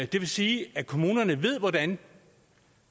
det vil sige at kommunerne ved hvordan